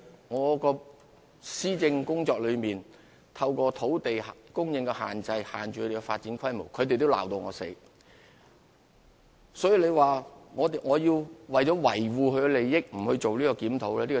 我們在施政工作中，透過管理土地供應，限制他們的發展規模，為此，他們也把我罵個半死。